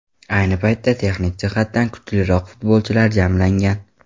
Ayni paytda texnik jihatdan kuchliroq futbolchilar jamlangan.